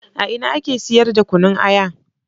A ina ake siyar da Kunna Aya?